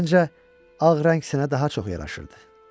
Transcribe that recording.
Amma məncə, ağ rəng sənə daha çox yaraşırdı.